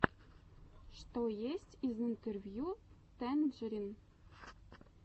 что есть из интервью тэнджерин